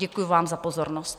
Děkuji vám za pozornost.